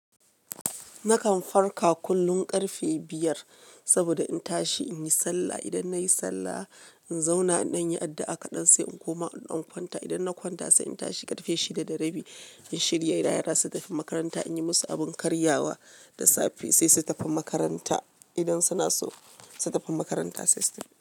Nakan farka kullum ƙarfe biyar saboda in tashi in yi sallah. Idan nai sallah, in zauna in dan yi addu'a kaɗan sai in koma in dan kwanta. Idan na kwanta sai in tashi ƙarfe shida da rabi in shirya yara su tafi makaranta, in yi musu abin karyawa da safe sai su tafi makaranta. Idan suna so su tafi makaranta sai su.